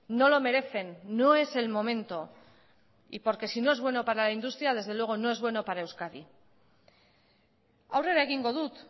no lo merecen no es el momento y porque sino es bueno para la industria desde luego no es bueno para euskadi aurrera egingo dut